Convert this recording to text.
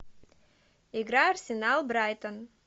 игра арсенал брайтон